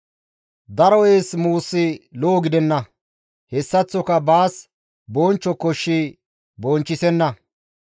Daro eessa muusi lo7o gidenna; hessaththoka baas bonchcho koshshi bonchchisenna.